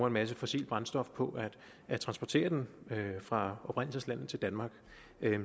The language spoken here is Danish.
en masse fossilt brændstof på at transportere den fra oprindelseslandet til danmark